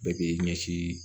Bɛɛ k'i ɲɛsin